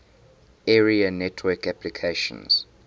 area network applications